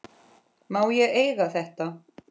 Má ég eiga þetta?